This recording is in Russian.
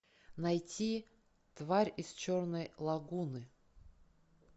найти тварь из черной лагуны